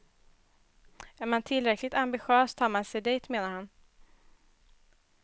Är man tillräckligt ambitiös tar man sig dit, menar han.